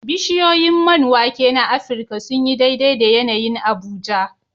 Bishiyoyin man wake na Afirka sun yi daidai da yanayin Abuja.